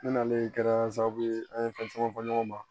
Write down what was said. Ne nanen kɛra sababu ye an ye fɛn caman fɔ ɲɔgɔn ma